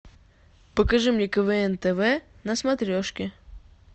покажи мне квн тв на смотрешке